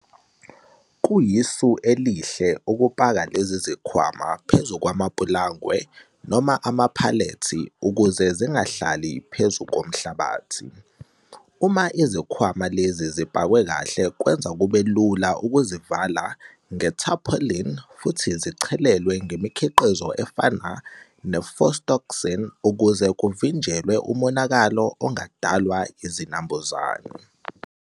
Kuyisu elihle ukupaka lezi zikhwama phezu kwamapulangwe noma amaphalethi ukuze zingahlali phezu komhlabathi. Uma izikhwama lezi zipakwe kahle kwenza kube lula ukuzivala ngetarpaulin futhi zichelelwe ngemikhiqizo efana nePhostoxin ukuze kuvinjelwe umonakalo ongadalwa izinambuzane.